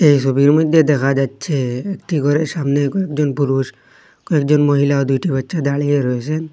এই ছবির মইধ্যে দেখা যাচ্ছে একটি ঘরের সামনে কয়েকজন পুরুষ কয়েকজন মহিলা দুইটি বাচ্চা দাঁড়িয়ে রয়েসেন।